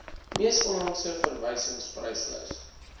mees onlangse verwysingspryslys